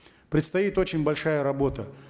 предстоит очень большая работа